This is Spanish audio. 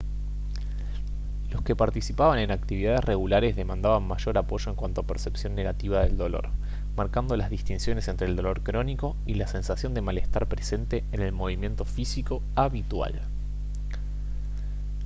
los que participaban en actividades regulares demandaban mayor apoyo en cuanto a percepción negativa del dolor marcando las distinciones entre el dolor crónico y la sensación de malestar presente en el movimiento físico habitual